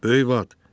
Böyük Bat!